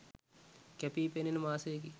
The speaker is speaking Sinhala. කැපී පෙනෙන මාසයකි